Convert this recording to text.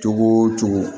Cogo o cogo